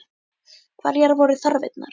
Hverjar voru þarfirnar?